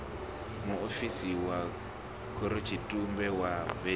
muofisiri wa khorotshitumbe wa vun